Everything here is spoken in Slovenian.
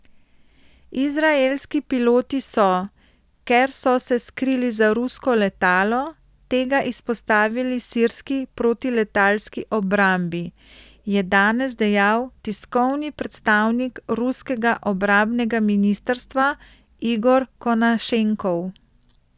Izraelski piloti so, ker so se skrili za rusko letalo, tega izpostavili sirski protiletalski obrambi, je danes dejal tiskovni predstavnik ruskega obrambnega ministrstva Igor Konašenkov.